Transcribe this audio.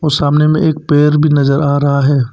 और सामने में एक पेड़ भी नजर आ रहा है।